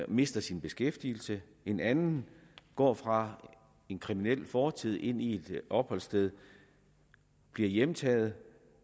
mister sin beskæftigelse en anden går fra en kriminel fortid ind i et opholdssted bliver hjemtaget